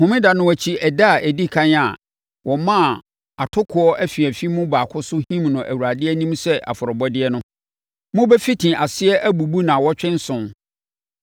“ ‘Homeda no akyi ɛda a ɛdi ɛkan a wɔmaa atokoɔ afiafi mu baako so him no Awurade anim sɛ afɔrebɔdeɛ no, mobɛfiti aseɛ abubu nnawɔtwe nson.